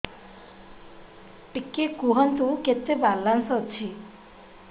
ଟିକେ କୁହନ୍ତୁ କେତେ ବାଲାନ୍ସ ଅଛି